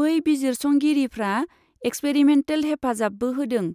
बै बिजिरसंगिरिफ्रा एक्सपेरिमेन्टेल हेफाजाबबो होदों,